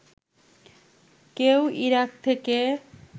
কেউ ইরাক থেকে